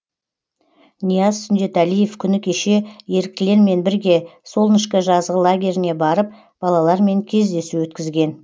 нияз сүндетәлиев күні кеше еріктілермен бірге солнышко жазғы лагеріне барып балалармен кездесу өткізген